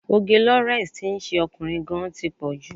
Òge Lawrence tí ń ṣe ọkùnrin gan-an tí pọ̀ jù.